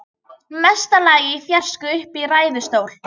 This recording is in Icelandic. Mesta lagi í fjarska uppi í ræðustól.